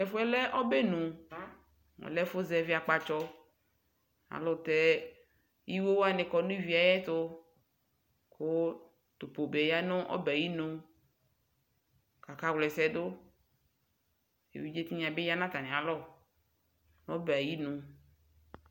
tɛƒʋɛ lɛ ɔbenʋ ɛlɛ ɛƒʋ ƶɛvi akpatsɔ aylʋtɛ iwowani kɔ nʋ ivietʋ kʋ tʋpobe yanʋ ɔbɛɛ ayinʋ kakawla ɛsɛɖʋ eviɖƶie tinya bi ya natamialɔ nʋ ɔbɛ ayinʋ